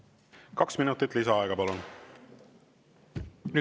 Kaks minutit lisaaega, palun!